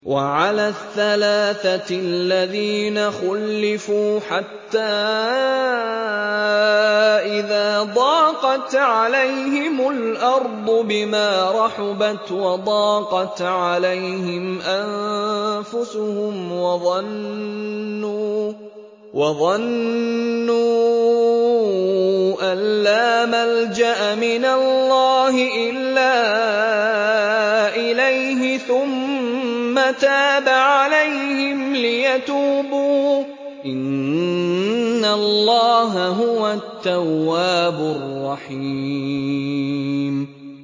وَعَلَى الثَّلَاثَةِ الَّذِينَ خُلِّفُوا حَتَّىٰ إِذَا ضَاقَتْ عَلَيْهِمُ الْأَرْضُ بِمَا رَحُبَتْ وَضَاقَتْ عَلَيْهِمْ أَنفُسُهُمْ وَظَنُّوا أَن لَّا مَلْجَأَ مِنَ اللَّهِ إِلَّا إِلَيْهِ ثُمَّ تَابَ عَلَيْهِمْ لِيَتُوبُوا ۚ إِنَّ اللَّهَ هُوَ التَّوَّابُ الرَّحِيمُ